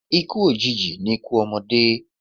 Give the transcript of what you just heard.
Ikú òjìji ni ikú ọmọdé.